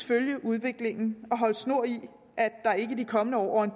følge udviklingen og holde snor i at der ikke i de kommende år over en